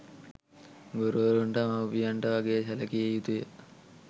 ගුරුවරුන්ට මවුපියන්ට වගේ සැලකිය යුතුය.